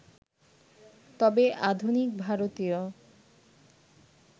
তবে আধুনিক ভারতীয়